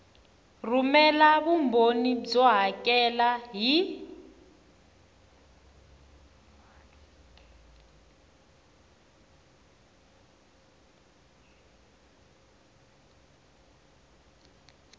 rhumela vumbhoni byo hakela hi